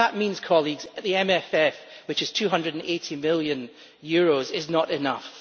That means, colleagues, that the MFF, which is EUR 280 million, is not enough.